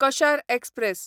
कशार express